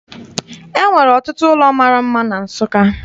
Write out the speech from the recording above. E nwere ọtụtụ ụlọ mara mma na Nsụka.